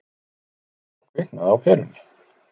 Þá kviknaði á perunni.